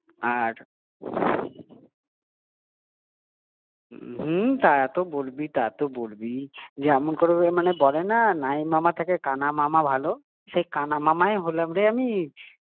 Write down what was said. কেকটা কাটাতে পেরেছি ওটাই বিশাল একটা ব্যাপার হুম তা তো বলবিই, তা তো বলবিই যেমন করে বলে না নাই মামার থেকে কানা মামা ভালো হ্যাঁ সেই কানা মামাই হলাম রে আমি